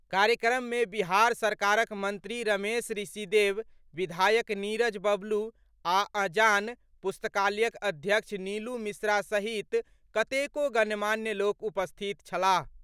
कार्यक्रम मे बिहार सरकारक मंत्री रमेश ऋषिदेव, विधायक नीरज बब्लू आ अजान पुस्तकालयक अध्यक्ष नीलू मिश्रा सहित कतेको गणमान्य लोक उपस्थित छलाह।